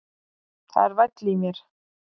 Það er væll í mér.